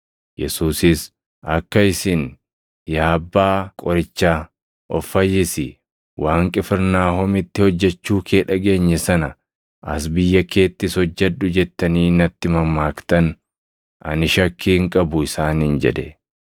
Yesuusis, “Akka isin, ‘Yaa abbaa qorichaa, of fayyisi! Waan Qifirnaahomitti hojjechuu kee dhageenye sana as biyya keettis hojjedhu’ jettanii natti mammaaktan ani shakkii hin qabu” isaaniin jedhe.